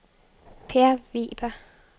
Per Weber